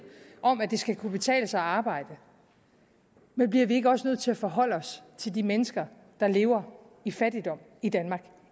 om at det skal kunne betale sig at arbejde men bliver vi ikke også nødt til at forholde os til de mennesker der lever i fattigdom i danmark